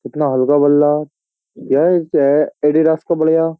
कितना हल्का बल्ला है एडिदास का बढ़िया।